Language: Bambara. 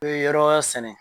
yɔrɔ wɛrɛ sɛnɛ.